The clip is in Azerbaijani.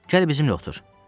Gəl bizimlə otur.